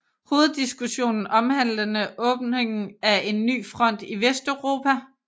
Hoveddiskussionen omhandlede åbningen af en ny front i Vesteuropa